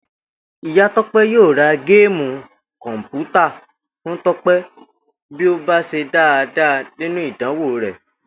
Ìyá Tó̩pé̩ yóò ra géèmù kò̩mpútà fún Tó̩pè bí ó bá s̩e dáadáa nínú ìdánwò rè̩